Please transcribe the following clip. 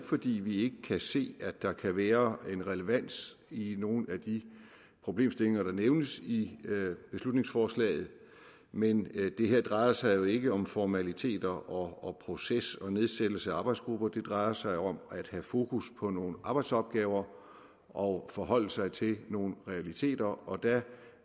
fordi vi ikke kan se at der kan være en relevans i nogle af de problemstillinger der nævnes i beslutningsforslaget men det her drejer sig jo ikke om formaliteter og proces og nedsættelse af arbejdsgrupper det drejer sig om at have fokus på nogle arbejdsopgaver og forholde sig til nogle realiteter og der